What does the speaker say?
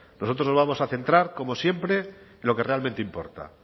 nosotros nos vamos a centrar como siempre en lo que realmente importa